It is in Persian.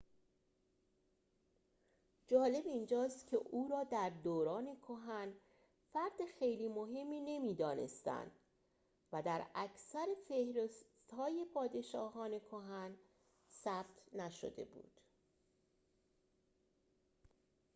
جالب اینجاست که او را در دوران کهن فرد خیلی مهمی نمی‌دانستند و در اکثر فهرست‌های پادشاهان کهن ثبت نشده بود